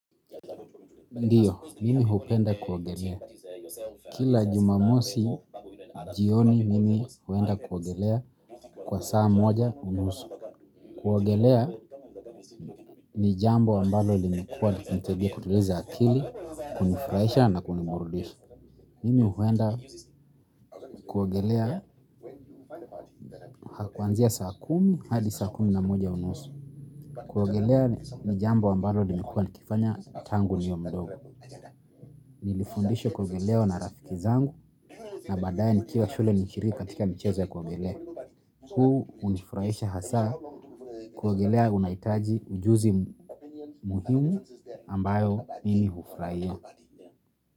Ndiyo, mimi hupenda kuwogelea. Kila jumamosi, jioni mimi huwenda kuwogelea kwa saa moja unusu. Kuwogelea ni jambo ambalo limekuwa nitebia kuturiza akili, kunifraisha na kunimbrudisha. Mimi huwenda kuwogelea hakuanzia saa kumi, hadi saa kumi na moja unusu. Kuwogelea ni jambo ambalo limekuwa nikifanya tangu niwe mdogo. Nilifundishwa kuogelea na marafiki zangu na baadaye nikiwa shule nilishiriki katika michezo ya kuogelea. Huu hunifurahisha hasaa kuogelea unahitaji ujuzi muhimu ambayo mimi hufurahia.